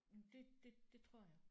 Det det det tror jeg